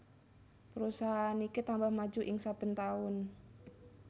Perusahaan iki tambah maju ing saben taun